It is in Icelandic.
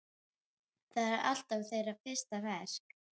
Það er alltaf þeirra fyrsta verk.